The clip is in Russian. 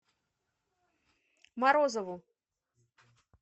морозову